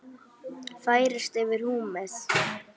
færist yfir húmið.